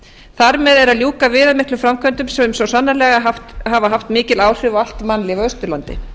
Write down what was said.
þar með er að ljúka viðamiklum framkvæmdum sem svo sannarlega hafa haft mikil áhrif á allt mannlíf á austurlandi